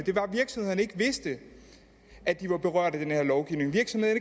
at virksomhederne ikke vidste at de var berørt af den her lovgivning